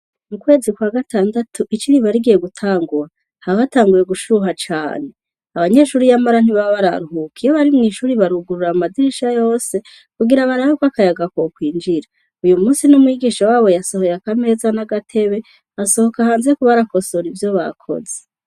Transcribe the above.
Mu kwezi kwa gatandatu ici riba rigiye gutangura, haba hatanguye gushuha cane abanyeshure yamara ntibaba bararuhuka. Iyo bari mw'ishure barugurura amadirisha yose kugira barabe ko akayaga ko kwinjira. Uyu munsi n'umwigisha wabo yasohoye akameza n'agatebe asohoka hanze kuba arakosora ivyo bakoze.